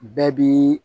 Bɛɛ bi